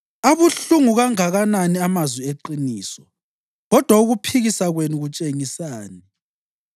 Abuhlungu kanganani amazwi eqiniso! Kodwa ukuphikisa kwenu kutshengisani?